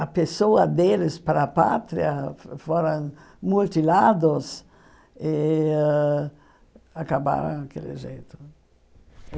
a pessoa deles para a pátria foram mutilados e acabaram daquele jeito.